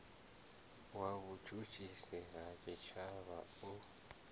wa vhutshutshisi ha tshitshavha u